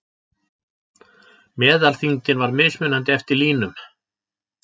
Meðalþyngdin var mismunandi eftir línum.